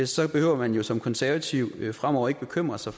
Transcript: så behøver man jo som konservativ fremover ikke bekymre sig